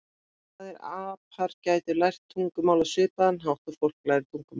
En hvað ef apar gætu lært tungumál á svipaðan hátt og fólk lærir tungumál?